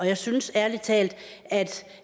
jeg synes ærlig talt at